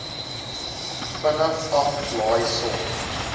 vinnig aflaai sorg